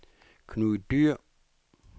Knud Dyhr